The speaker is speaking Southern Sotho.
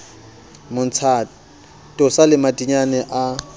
mmontsha tosa le madinyane a